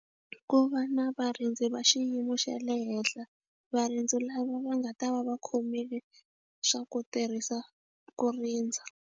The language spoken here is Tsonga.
I ku va na varindzi va xiyimo xa le henhla varindzi lava va nga ta va va khomile swa ku tirhisa ku rindza.